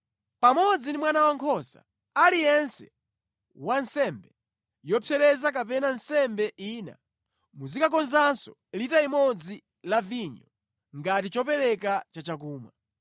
Pamodzi ndi mwana wankhosa aliyense wa nsembe yopsereza kapena nsembe ina, muzikakonzanso lita imodzi la vinyo ngati chopereka cha chakumwa.’ ”